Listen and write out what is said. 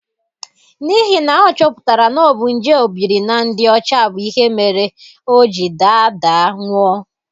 N'ihi na a chọpụtara na ọ bu nje obiri na ndị ọcha bụ ihe mere o ji daa daa nwụọ.